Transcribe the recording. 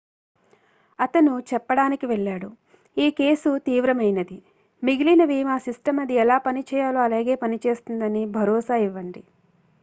"అతను చెప్పడానికి వెళ్ళాడు "ఈ కేసు తీవ్రమైనది. మిగిలినవి మా సిస్టమ్ అది ఎలా పని చేయాలో అలాగే పనిచేస్తుందని భరోసా ఇవ్వండి.""